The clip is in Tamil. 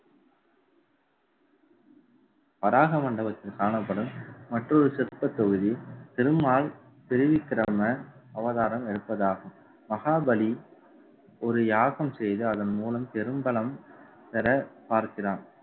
வராக மண்டபத்தில் காணப்படும் மற்றொரு சிற்பத் தொகுதி திருமால் அவதாரம் எடுப்பதாகும். மகாபலி ஒரு யாகம் செய்து அதன் மூலம் பெரும் பலம் பெற பார்க்கிறான்